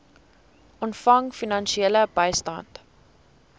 ontvang finansiële bystand